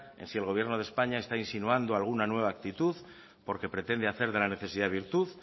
en si el gobierno de españa está insinuando alguna nueva actitud porque pretende hacer de la necesidad virtud